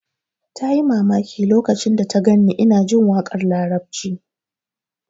Ta yi mamaki lokacin da ta gan ni ina jin waƙar larabci